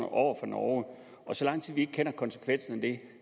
over for norge og så lang tid vi ikke kender konsekvensen af det